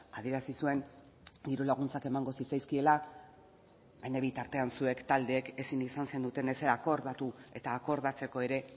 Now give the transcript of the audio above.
adierazi zuen dirulaguntzak emango zitzaizkiela baina bitartean zuek taldeek ezin izan zenuten ezer akordatu eta akordatzeko ere